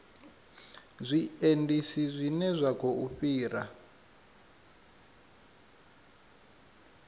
zwiendisi zwine zwa khou fhira